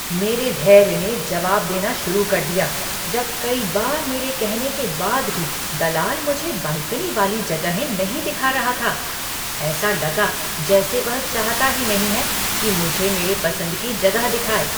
मेरा धैर्य ने जवाब देना शुरू कर दिया जब कई बार मेरे कहने के बाद भी दलाल मुझे बालकनी वाली जगहें नहीं दिखा रहा था। ऐसा लगा जैसे वह चाहता ही नहीं है कि मुझे मेरे पसंद की जगह दिखाए।